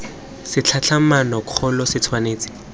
sa tlhatlhamano kgolo se tshwanetse